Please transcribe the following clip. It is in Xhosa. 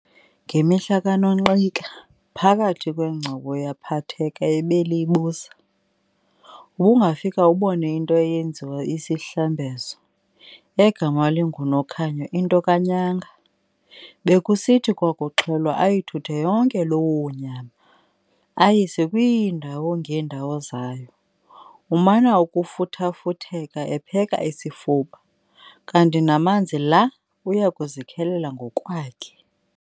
Ngemihla kaNonqika, phakathi kwengcobo yaphatheka ebeliyibusa, ubungafika ubone into eyenziwe isihlambezo, egama linguNokhonya into kaNyanga. Bekusithi kwakuxhelwa ayithuthe yonke loo nyama, ayise kwiindawo ngeendawo zayo, umana ukufuthafutheka epheka isifuba, kanti namanzi la uyakuzikhelela ngokwakhe.